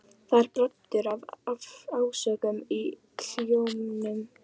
Það er broddur af ásökun í hljómnum.